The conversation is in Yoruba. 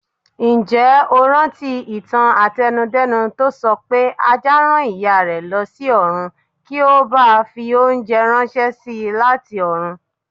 Ǹjẹ́ o rántí ìtàn àtẹnu-dẹ́nu tó sọpé Ajá rán Ìyárẹ̀ lọsí ọ̀run kí ó bàa fi oúnjẹ ránṣési láti ọ̀run.